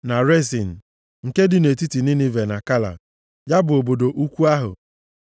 na Resin, nke dị nʼetiti Ninive na Kala, ya bụ obodo ukwu ahụ.